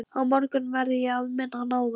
Á morgun verð ég að minna hann á það.